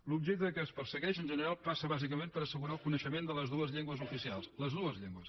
l’objecte que es persegueix en general passa bàsicament per assegurar el coneixement de les dues llengües oficials les dues llengües